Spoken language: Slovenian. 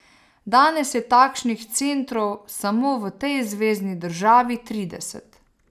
Danes je takšnih centrov samo v tej zvezni državi trideset.